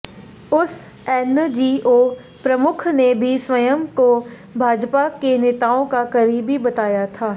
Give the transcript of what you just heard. उस एनजीओ प्रमुख ने भी स्वयं को भाजपा के नेताओं का करीबी बताया था